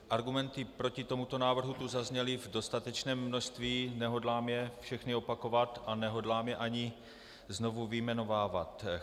Argumenty proti tomuto návrhu tu zazněly v dostatečném množství, nehodlám je všechny opakovat a nehodlám je ani znovu vyjmenovávat.